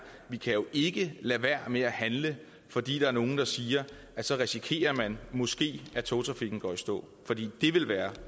at vi jo ikke kan lade være med at handle fordi der er nogen der siger at så risikerer man måske at togtrafikken går i stå for det ville være